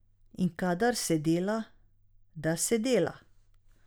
In kadar se dela, da se dela.